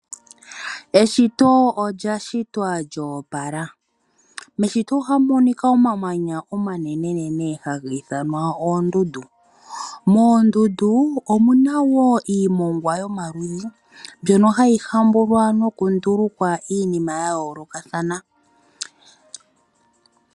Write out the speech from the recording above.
Eshito olya shitwa lya opola. Meshito ohamu monika omamanya oma nenenene haga ithanwa oondundu. Moondundu omuna woo iimongwa yo maludhi mbyono hayi hambulwa no ku nduluka iinima ya yoolokathana.